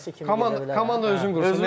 Baş məşqçi kimi Komanda özünü qursun.